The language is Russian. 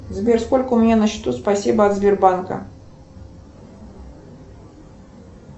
сбер сколько у меня на счету спасибо от сбербанка